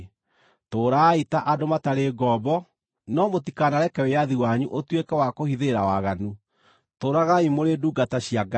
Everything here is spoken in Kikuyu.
Tũũrai ta andũ matarĩ ngombo, no mũtikanareke wĩyathi wanyu ũtuĩke wa kũhithĩrĩra waganu; tũũragai mũrĩ ndungata cia Ngai.